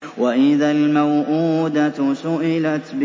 وَإِذَا الْمَوْءُودَةُ سُئِلَتْ